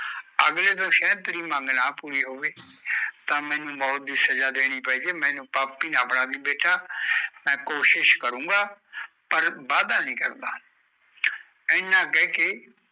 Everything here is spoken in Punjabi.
ਅਗਲੇ ਤੋਂ ਸ਼ਾਹਿਦ ਤੇਰੀ ਮੰਗ ਨਾ ਪੂਰੀ ਨਾ ਹੋਵੇ ਤਾਂ ਮੈਨੂੰ ਮੌਤ ਦੀ ਸਜਾ ਦੇਣੀ ਪਏਗੀ ਮੈਨੂੰ ਪਾਪੀ ਨਾ ਬਣਾਂਦੀ ਬੇਟਾ ਮੈ ਕੋਇਸ਼ਿਸ਼ ਕਰੂਗਾ ਪਰ ਵਾਦਾ ਨੀ ਕਰਦਾ ਇਹਨਾ ਕਹਿ ਕੇ